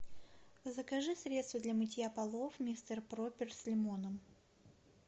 закажи средство для мытья полов мистер пропер с лимоном